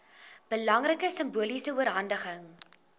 belangrike simboliese oorhandiging